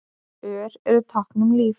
Ör eru tákn um líf.